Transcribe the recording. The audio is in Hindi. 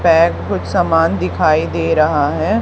बैग कुछ समान दिखाई दे रहा है।